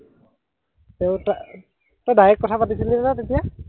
তই তাই, এৰ তই ডাইৰেক্ট কথা পাতিছিলিনে তেতিয়া?